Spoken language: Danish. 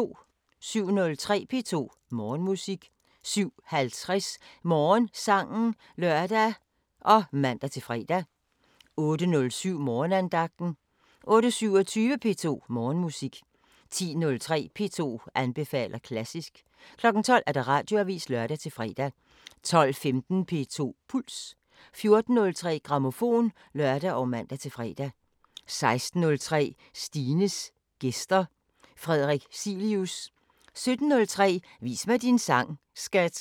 07:03: P2 Morgenmusik 07:50: Morgensangen (lør og man-fre) 08:07: Morgenandagten 08:27: P2 Morgenmusik 10:03: P2 anbefaler klassisk 12:00: Radioavisen (lør-fre) 12:15: P2 Puls 14:03: Grammofon (lør og man-fre) 16:03: Stines gæster – Frederik Cilius 17:03: Vis mig din sang, skat!